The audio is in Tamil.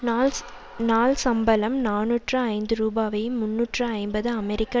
நாள் சம்பளம் நாநூற்று ஐந்து ரூபாவை முன்னூற்று ஐம்பது அமெரிக்க